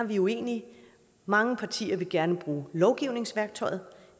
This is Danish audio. vi uenige mange partier vil gerne bruge lovgivningsværktøjet